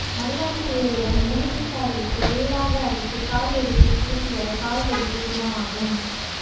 மருதாணி இலையுடன் எலுமிச்சை சாறு விட்டு விழுதாக அரைத்து கால் வெடிப்பில் பூசி வர கால் வெடிப்பு குணமாகும்